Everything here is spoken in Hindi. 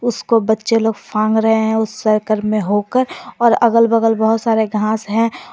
उसको बच्चे लोग फांग रहे हैं उसे सर्किल में होकर और अगल बगल बहुत सारे घास हैं ।